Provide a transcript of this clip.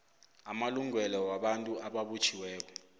ngamalungelo wabantu ababotjhiweko